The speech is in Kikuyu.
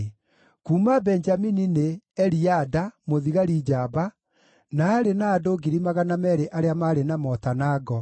Kuuma Benjamini nĩ: Eliada, mũthigari njamba, na aarĩ na andũ 200,000 arĩa maarĩ na mota na ngo;